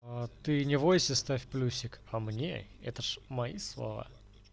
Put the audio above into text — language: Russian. а ты не войси ставь плюсик а мне это ж мои слова